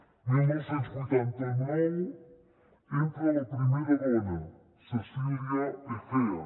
el dinou vuitanta nou entra la primera dona cecília egea